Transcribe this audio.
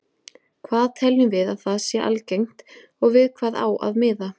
Hvað teljum við að sé algengt og við hvað á að miða?